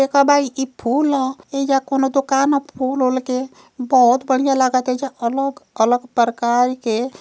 एक बाई इ फूल अ। एइजा कौनों दोकान ह फूल ओल के। बोहोत बढ़िया लागता। एइजा अलोग -अलग परकार के --